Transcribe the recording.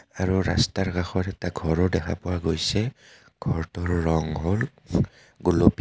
আৰু ৰাস্তাৰ কাষত এটা ঘৰও দেখা পোৱা গৈছে ঘৰটোৰ ৰং হ'ল গুলপীয়া.